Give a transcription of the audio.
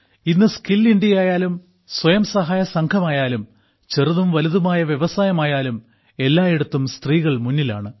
ഇന്ന് സ്കിൽ ഇന്ത്യയായാലും സ്വയംസഹായ സംഘമായാലും ചെറുതും വലുതുമായ വ്യവസായമായാലും എല്ലായിടത്തും സ്ത്രീകൾ മുന്നിലാണ്